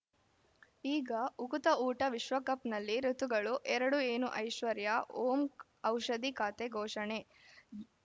ಈಗ ಉಕುತ ಊಟ ವಿಶ್ವಕಪ್‌ನಲ್ಲಿ ಋತುಗಳು ಎರಡು ಏನು ಐಶ್ವರ್ಯಾ ಓಂ ಔಷಧಿ ಖಾತೆ ಘೋಷಣೆ